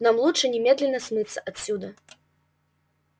нам лучше немедленно смыться отсюда